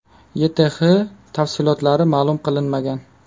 YTH tafsilotlari ma’lum qilinmagan.